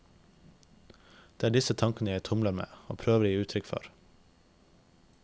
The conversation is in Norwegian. Det er disse tankene jeg tumler med, og prøver å gi uttrykk for.